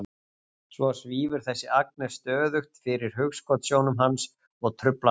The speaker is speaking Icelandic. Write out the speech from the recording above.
Svo svífur þessi Agnes stöðugt fyrir hugskotssjónum hans og truflar hann.